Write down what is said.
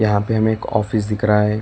यहां पे हमें एक ऑफिस दिख रहा है।